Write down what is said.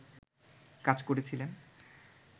কাজ করেছিলেন